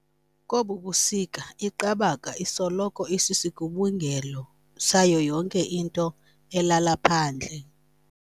Kobu busika iqabaka isoloko isisigubungelo sayo yonke into elala phandle.